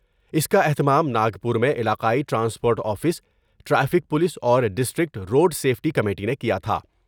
اس کا اہتمام ناگپور میں علاقائی ٹرانسپورٹ آفس ، ٹریفک پولس اور ڈسٹرکٹ روڈسیفٹی کمیٹی نے کیا تھا ۔